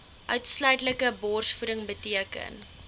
uitsluitlike borsvoeding beteken